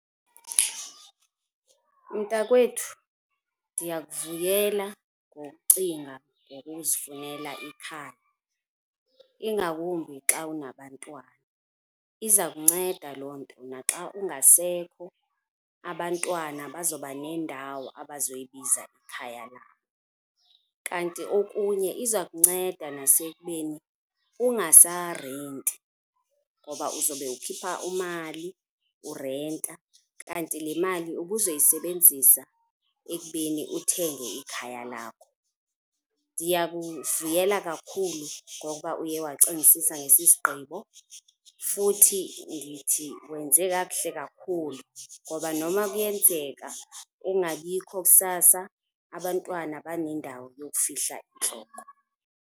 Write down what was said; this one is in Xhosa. Mntakwethu, ndiyakuvuyela ngokucinga ngokuzifunela ikhaya ingakumbi xa unabantwana iza kunceda loo nto na xa ungasekho abantwana bazawuba nendawo abazoyibiza ikhaya labo. Kanti okunye iza kunceda nasekubeni ungasarenti, ngoba uzawube ukhipha umali urenta kanti le mali ubuzoyisebenzisa ekubeni uthenge ikhaya lakho. Ndiyakuvuyela kakhulu ngokuba uye wacingisisa ngesi sigqibo futhi ndithi wenze kakuhle kakhulu ngoba noma kuyenzeka ungabikho kusasa, abantwana banendawo yokufihla intloko.